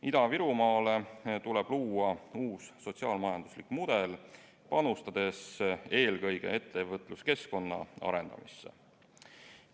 Ida-Virumaale tuleb luua uus sotsiaal-majanduslik mudel, panustades eelkõige ettevõtluskeskkonna arendamisse.